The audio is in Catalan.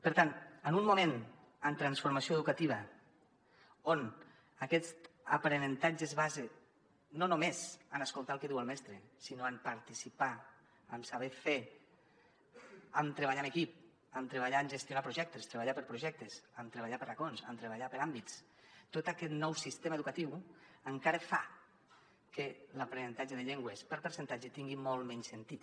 per tant en un moment en transformació educativa on aquest aprenentatge es basa no només en escoltar el que diu el mestre sinó en participar en saber fer en treballar en equip en treballar en gestionar projectes treballar per projectes en treballar per racons en treballar per àmbits tot aquest nou sistema educatiu encara fa que l’aprenentatge de llengües per percentatge tingui molt menys sentit